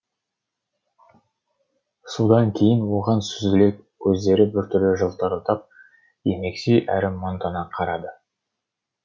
содан кейін оған сүзіле көздері біртүрлі жылтырдап емекси әрі мұңдана қарады